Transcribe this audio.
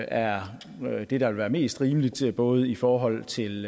er det der vil være mest rimeligt både i forhold til